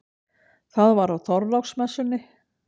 Það var á Þorláksmessunni.